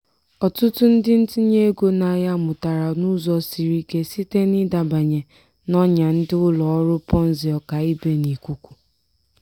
ọtụtụ ndị ntinye ego n'ahịa mụtara n'ụzọ siri ike site n'ịdabanye n'ọnya ndị ụlọ ọrụ ponzi ọkaibe n'ikuku.